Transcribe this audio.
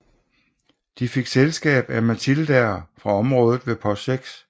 De fik selskab af Matildaer fra området ved Post 6